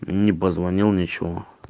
ни позвонил ничего